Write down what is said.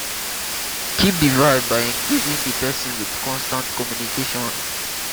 keep di vibe by engaging di person with constant communication